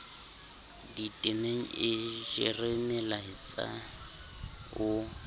ditemeng e jere molaetsa o